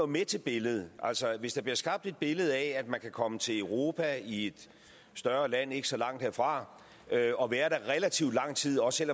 med til billedet hvis der bliver skabt et billede af at man kan komme til europa i et større land ikke så langt herfra og være der relativt lang tid også